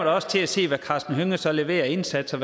også til at se hvad karsten hønge så leverer af indsatser